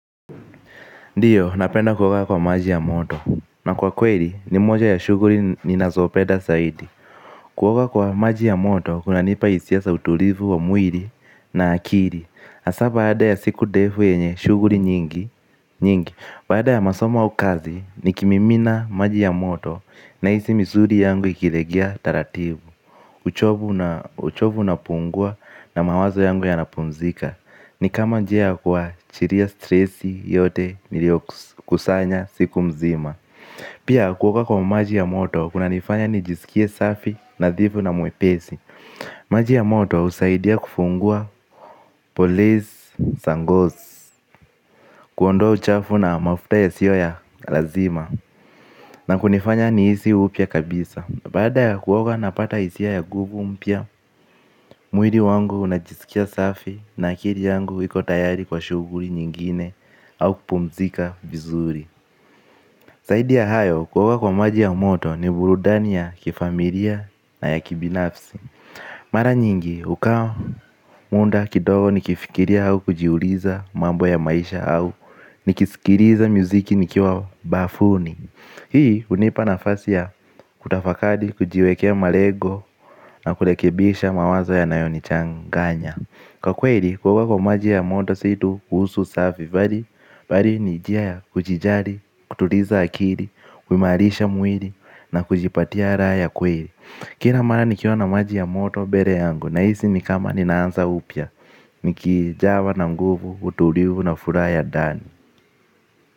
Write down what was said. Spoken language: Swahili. Ndiyo napenda kuoga kwa maji ya moto. Na kwa kweli, ni moja ya shughuli ninazopenda zaidi. Kuoga kwa maji ya moto kuna nipa hisia za utulivu wa mwili na akili hasa baada ya siku ndefu yenye shughuli nyingi. Baada ya masoma au kazi nikimimina maji ya moto na hisi misuli yangu ikilegea taratibu. Uchovu una pungua na mawazo yangu yanapumzika. Ni kama njia ya kuwachilia stresi yote niliyo kusanya siku mzima. Pia kuoga kwa maji ya moto kuna nifanya nijisikie safi nadhifu na mwepesi. Maji ya moto husaidia kufungua polis za ngozi. Kuondoa uchafu na mafuta yasiyo ya lazima na kunifanya nihisi upya kabisa. Baada ya kuoga napata hisia ya nguvu mpya mwili wangu unajisikia safi na akili yangu iko tayari kwa shughuli nyingine. Au kupumzika vizuri zaidi ya hayo kuoga kwa maji ya moto ni burudani ya kifamilia na ya kibinafsi. Mara nyingi ukawa muda kidogo nikifikiria au kujiuliza mambo ya maisha au ni kisikiliza miziki nikiwa bafuni hii hunipa nafasi ya kutafakari kujiwekea malengo na kurekebisha mawazo yanayonichanganya. Kwa kweli kuog kwa maji ya moto si tu kuhusu susafi. Bali ni njia ya kujijali, kutuliza akili, kuimarisha mwilii na kujipatia raha ya kweli. Kila mara nikiona maji ya moto mbere yangu nahisi ni kama ninaanza upya. Nikijawa na nguvu utulivu na furaha ya ndani.